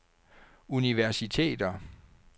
universiteter